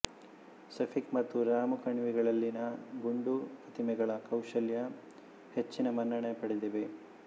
ಸೆಫಿಕ್ ಮತ್ತು ರಾಮು ಕಣಿವೆಗಳಲ್ಲಿನ ಗುಂಡು ಪ್ರತಿಮೆಗಳ ಕೌಶಲ್ಯ ಹೆಚ್ಚಿನ ಮನ್ನಣೆ ಪಡೆದಿವೆ